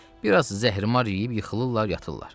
Bir az zəhərimar yeyib yıxılırlar, yatırlar.